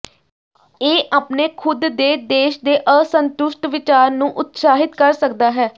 ਇਹ ਆਪਣੇ ਖੁਦ ਦੇ ਦੇਸ਼ ਦੇ ਅਸੰਤੁਸ਼ਟ ਵਿਚਾਰ ਨੂੰ ਉਤਸ਼ਾਹਿਤ ਕਰ ਸਕਦਾ ਹੈ